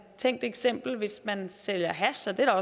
tænkt eksempel hvis man sælger hash og der